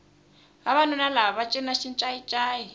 vavanuna lava va cina xincayi ncayi